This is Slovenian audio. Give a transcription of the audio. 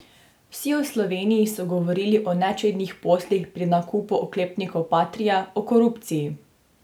Vsi v Sloveniji so govorili o nečednih poslih pri nakupu oklepnikov patria, o korupciji.